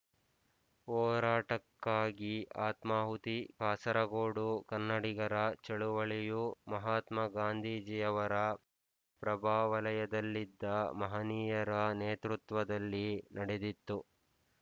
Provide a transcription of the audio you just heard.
ಹೋರಾಟಕ್ಕಾಗಿ ಆತ್ಮಾಹುತಿ ಕಾಸರಗೋಡು ಕನ್ನಡಿಗರ ಚಳುವಳಿಯು ಮಹಾತ್ಮಾಗಾಂಧೀಜಿಯವರ ಪ್ರಭಾವಲಯದಲ್ಲಿದ್ದ ಮಹನೀಯರ ನೇತೃತ್ವದಲ್ಲಿ ನಡೆದಿತ್ತು